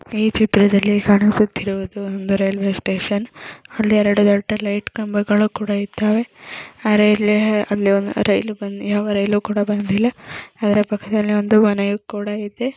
ಈ ಚಿತ್ರದಲ್ಲಿ ಕಾಣಿಸುತ್ತಿರುವುದು ಒಂದು ರೈಲ್ವೆ ಸ್ಟೇಷನ್ ಹಳ್ಳಿ ಎರಡು ದೊಡ್ಡ ಲೈಟ್ ಕಂಬಗಳು ಇದ್ದಾವೆ ಅರೆಹಳ್ಳಿ ರೈಲು ರೈಲು ಕೂಡ ಬಂದಿಲ್ಲ ಅದರ ಪಕ್ಕದಲ್ಲಿಒಂದು ಮನೆಯೂ ಕೂಡ ಇದೆ.